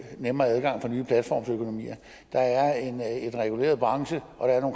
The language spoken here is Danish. nemmere adgang for nye platformsøkonomier der er en reguleret branche